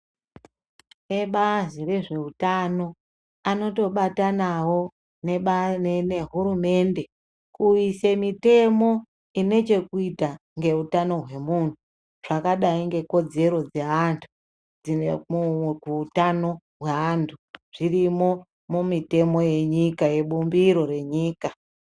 Ebazi rezveutano anotobatanavo nehurumende kuisa mitemo ine chekuita ngeutano hwemuntu zvakadai ngekodzero dzeantu. Dzine kuutano hweantu dzirimwo mumutemo venyika yebumbiro renyika.